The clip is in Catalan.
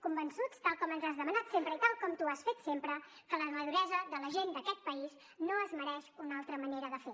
convençuts tal com ens has demanat sempre i tal com tu has fet sempre que la maduresa de la gent d’aquest país no es mereix una altra manera de fer